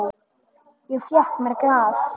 Ég fékk mér glas.